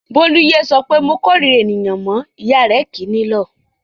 Bólú yé sọ pé "mo korira ènìyàn" mọ́ ìyá rẹ̀ kì í nílọ̀.